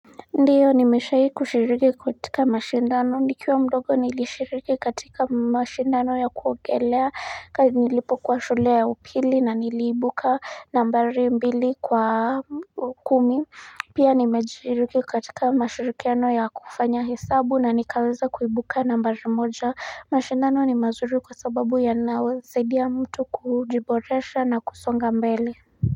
Ndio nimeshai kushiriki katika mashindano nikiwa mdogo nilishiriki katika mashindano ya kuogelea nilipokuwa shule ya upili na niliibuka nambari mbili kwa kumi Pia nimeshiriki katika mashirikiano ya kufanya hesabu na nikaweza kuibuka nambari moja mashindano ni mazuri kwa sababu yanasaidia mtu kujiboresha na kusonga mbele.